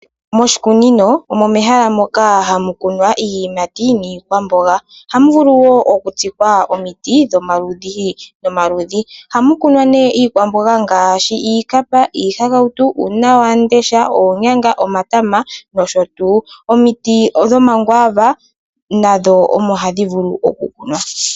Moshikunino omo mehala moka hamu kunwa iiyimati niikwamboga. Ohamu vulu woo oku tsikwa omiti dhoma ludhi noma ludhi. Ohamu kunwa nee iikwamboga ngaashi iikapa, iihakautu, uunawandesha, oonyanga, omatama nsh. Omiti dhoma kwaava nadho omo hadhi vulu oku kunwa.